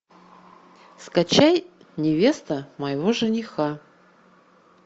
скачай невеста моего жениха